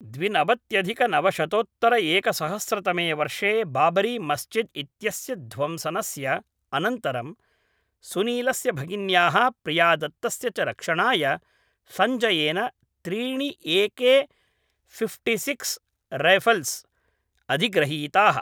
द्विनवत्यधिकनवशतोत्तरएकसहस्रतमे वर्षे बाबरी मस्जिद् इत्यस्य ध्वंसनस्य अनन्तरं सुनीलस्य भगिन्याः प्रियादत्तस्य च रक्षणाय संजयेन त्रीणि एके फिफ्टिसिक्स् रैफल्स् अधिग्रहीताः